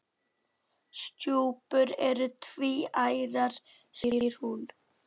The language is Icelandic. Stjúpur eru tvíærar segir hún.